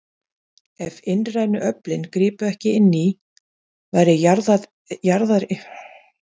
Ef innrænu öflin gripu ekki inn í, væri jarðaryfirborðið fyrir löngu orðið marflatt.